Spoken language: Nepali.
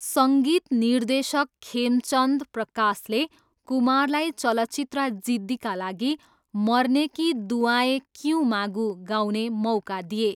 सङ्गीत निर्देशक खेमचन्द प्रकाशले कुमारलाई चलचित्र जिद्दीका लागि मरने की दुआएँ क्यूँ मागूँ गाउने मौका दिए।